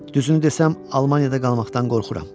Düzünü desəm Almaniyada qalmaqdan qorxuram.